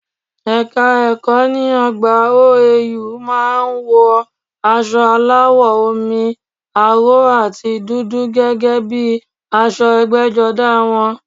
Ẹ́ka ẹ̀kọ́ ní ọgbà OAU má a ń wọ asọ aláwọ̀ omi aró àti dúdú gẹ́gẹ́ bíi aṣọ ẹgbẹ́jọdá wọn